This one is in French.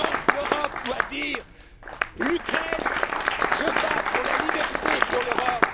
peuples. L'Europe doit donc dire L'Ukraine se bat pour la liberté et